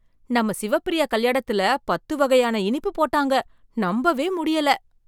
நம்ம சிவப்பிரியா கல்யாணத்துல பத்து வகையான இனிப்பு போட்டாங்க, நம்பவே முடியல!